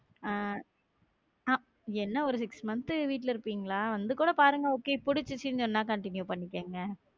ஆஹ் ஆங் என்ன ஒரு six month வீட்டுல இருப்பீங்களா? வந்து கூட பாருங்க okay புடிச்சிருச்சுன்னு சொன்னா continue பண்ணிக்கோங்க